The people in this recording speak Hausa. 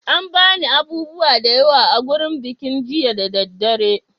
An ba ni abubuwa da yawa a gurin bikin jiya da daddare.